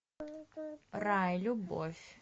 рай любовь